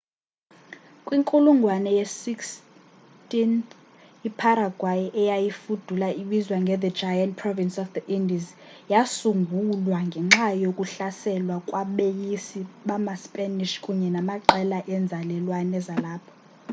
kwinkulungwane ye-16th iparaguay eyayifudula ibizwa nge the giant province of the indies yasungulwa ngenxa yokuhlaselwa kwabeyisi bamaspanish kunye namaqela enzalelwane zalapho